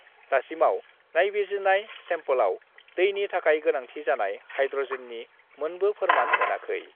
दासिमाव नायबिजिरनाय सेम्पलआव दैनि थाखाय गोनांथि जानाय हाइड्रजेननि मोनबो फोरमान मोनाखै।